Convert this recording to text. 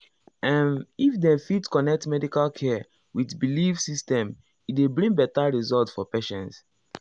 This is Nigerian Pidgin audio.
ehm if dem fit connect medical care with belief system e dey bring better result for patients.